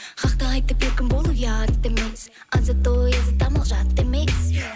хақты айтып еркін болу ұят емес азат ой азат амал жат емес